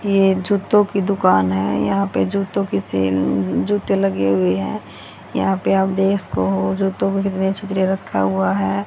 ये जूतों की दुकान है यहां पे जूतों की सेल जूते लगे हुए है यहां पे आप देख सको हो जूतों के छितरे रखा हुआ हैं।